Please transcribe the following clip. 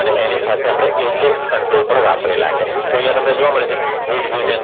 અને એની સાથે આપણે Eject control પણ વાપરેલા છે. તો અહીંયા તમને જોવા મળે છે